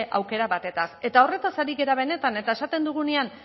aukera batetaz eta horretaz ari gara benetan eta esaten dugunean